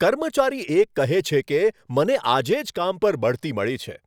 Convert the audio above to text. કર્મચારી એક કહે છે કે, મને આજે જ કામ પર બઢતી મળી છે.